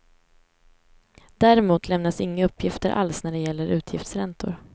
Däremot lämnas inga uppgifter alls när det gäller utgiftsräntor.